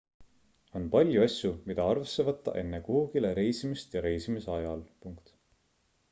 on palju asju mida arvesse võtta enne kuhugile reisimist ja reisimise ajal